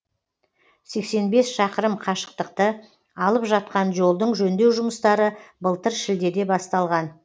сексен бес шақырым қашықтықты алып жатқан жолдың жөндеу жұмыстары былтыр шілдеде басталған